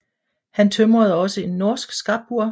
Han tømrede også en norsk stabbur